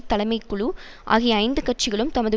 தலைமைக் குழு ஆகிய ஐந்து கட்சிகளும் தமது